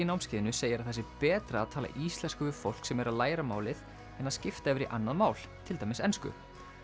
námskeiðinu segir að það sé betra að tala íslensku við fólk sem er að læra málið en að skipta yfir í annað mál til dæmis ensku